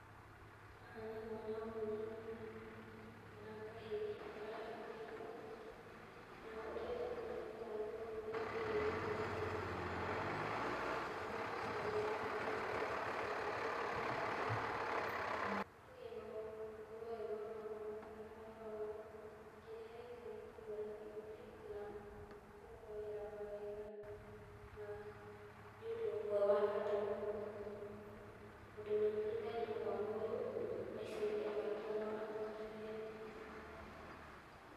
Haha nĩ mwana mũnini kana kahĩ kara rathimwo. Na ũrĩa ndamenya nĩ kũrathimwo, nĩ ũrĩa kaigĩrĩirũo guoko na mũthuri ũcio wĩ hau kando. Na aronekane tarĩ, tuge no akorũo arĩ mama wao kana baba wao na kĩrĩa areka nĩ kũmũrathimithia kana kũmũhoera mawega na nĩ ũndũ ũmwe wa bata mũno tondũ nĩ ũteithagia mwana ũyũ maica-inĩ maake ma hau gabere.